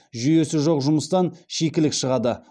жүйесі жоқ жұмыстан шикілік шығады